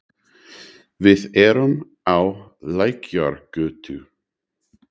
Við erum á Lækjargötu.